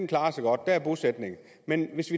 klarer sig godt der er bosætning men hvis